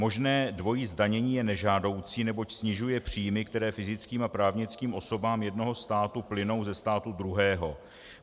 Možné dvojí zdanění je nežádoucí, neboť snižuje příjmy, které fyzickým a právnickým osobám jednoho státu plynou ze státu druhého.